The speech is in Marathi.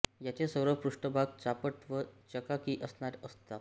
याचे सर्व पृष्ठभाग चापट व चकाकी असणारे असतात